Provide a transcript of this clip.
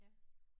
Ja